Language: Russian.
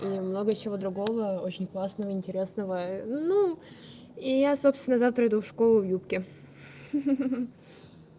и много чего другого очень классного интересного ну и я собственно завтра иду в школу в юбке ха-ха